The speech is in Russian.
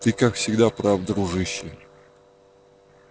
ты как всегда прав дружище